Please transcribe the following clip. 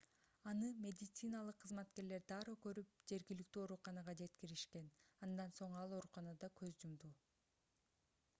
аны медициналык кызматкерлер дароо көрүп жергиликтүү ооруканага жеткиришкен андан соң ал ооруканада көз жумду